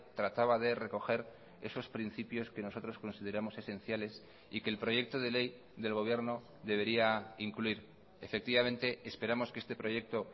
trataba de recoger esos principios que nosotros consideramos esenciales y que el proyecto de ley del gobierno debería incluir efectivamente esperamos que este proyecto